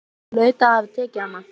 Hún hlaut að hafa tekið hana.